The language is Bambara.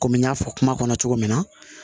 Komi n y'a fɔ kuma kɔnɔ cogo min na